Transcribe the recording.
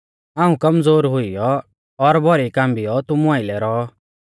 हाऊं कमज़ोर हुइयौ और डौरियौ और भौरी कांबियौ तुमु आइलै रौ